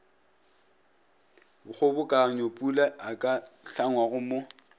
kgobokanyopula a ka hlangwago mo